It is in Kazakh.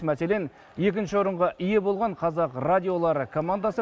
мәселен екінші орынға ие болған қазақ радиолары командасы